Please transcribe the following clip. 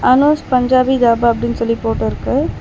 அனுஷ் பஞ்சாபி தாபா அப்டின் சொல்லி போட்டு இருக்கு.